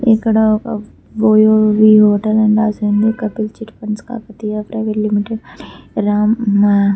ఇక్కడ ఒక OYO the hotel అని రాసి ఉంది Kapil chit funds Kakatiya private limited అని రాం --